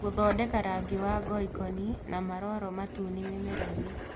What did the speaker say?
Gũthondeka rangi wa ngoikoni na maroro matune mĩmera-inĩ